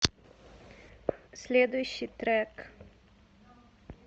следующий трек